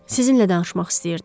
Sizinlə danışmaq istəyirdim.